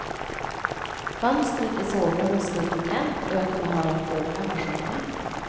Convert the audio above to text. Fönstret i sovrummet stod på glänt och jag kunde höra fåglarna sjunga.